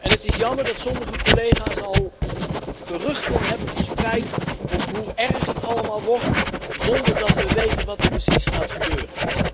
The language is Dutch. Het is jammer dat sommige collega's al geruchten hebben verspreid over hoe erg het allemaal wordt zonder dat we weten wat er precies gaat gebeuren.